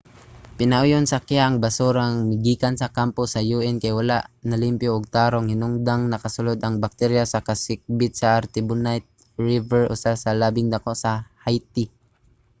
pinauyon sa kiha ang basura nga migikan sa kampo sa un kay wala nalimpyo og tarong hinungdang nakasulod ang bakterya sa kasikbit sa artibonite river usa sa labing dako sa haiti